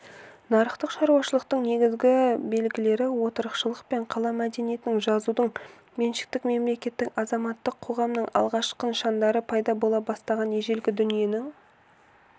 нарықтық шаруашылықтың негізгі белгілері отырықшылық пен қала мәдениетінің жазудың меншіктің мемлекеттік азаматтық қоғамның алғашқы нышандары пайда бола бастаған ежелгі дүниенің